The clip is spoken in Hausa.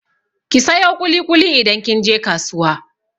Ki sayo ƙuli-ƙuli idan kin je kasuwa!